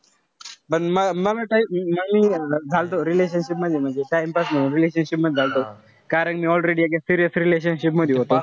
पण मला मला काई झालतो. relationship मध्ये म्हणजे time pass म्हणून relationship मध्ये आलतो. कारण मी already एका serious relationship मध्ये होतो.